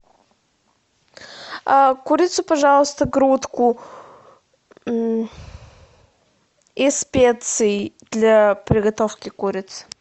курицу пожалуйста грудку и специи для приготовки курицы